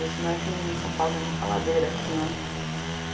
Não é que nem em São Paulo, tem muita ladeira aqui né.